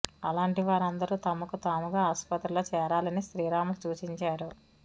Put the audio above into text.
అలాంటి వారందరూ తమకు తాముగా ఆసుపత్రుల్లో చేరాలని శ్రీరాములు సూచించారు